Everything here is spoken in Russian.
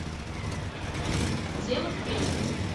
дело в печке